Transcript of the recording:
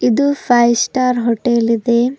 ಇದು five star hotel ಇದೆ.